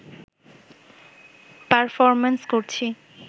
performance করছি